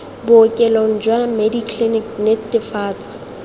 bookelong jwa medi clinic netefatsa